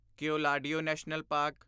Keoladeo national park